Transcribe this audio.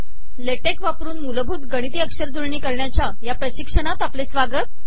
LaTeX वापरन मूलभूत गिणती अकर जुळणी करणयाचया पिशकणात आपले सवागत